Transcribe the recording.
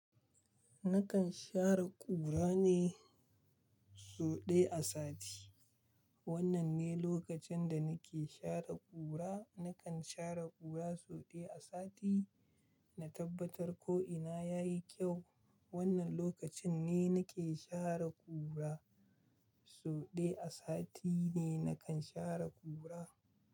Nakan share ƙura ne so ɗaya a sati. Wannan ne lokacin da nake share ƙura. Nakan share ƙura so ɗaya a sati. Na tabbatar ko'ina ya yi kyau. Wannan lokacin ne nake share ƙura. So ɗaya a sati ne nakan share ƙura.